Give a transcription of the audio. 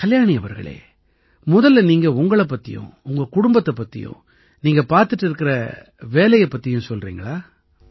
கல்யாணி அவர்களே முதல்ல நீங்க உங்களைப் பத்தியும் உங்க குடும்பம் பத்தியும் நீங்க பார்த்திட்டு இருக்கற வேலை பத்தியும் சொல்றீங்களா